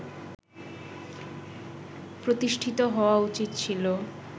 প্রতিষ্ঠিত হওয়া উচিত ছিল